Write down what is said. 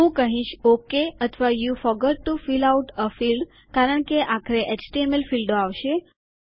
હું કહીશ ઓકે અથવા you forgot to fill out a field કારણ કે આખરે એચટીએમએલ ફીલ્ડો આવશે